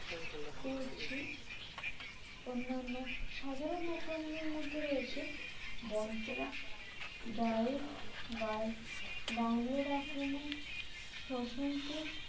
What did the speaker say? করছে অন্যান্য সাধারণত মনের মধ্যে রয়েছে bonten dry bite download আক্রমণ শোষণ কেট